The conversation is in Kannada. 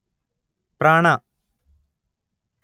ಪ್ರಾಣ